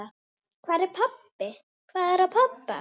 Hvað er að, pabbi?